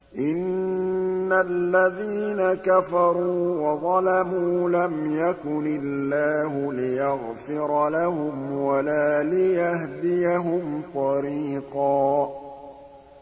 إِنَّ الَّذِينَ كَفَرُوا وَظَلَمُوا لَمْ يَكُنِ اللَّهُ لِيَغْفِرَ لَهُمْ وَلَا لِيَهْدِيَهُمْ طَرِيقًا